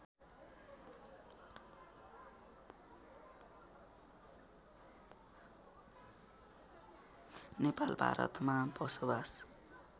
नेपाल भारतमा बसोवास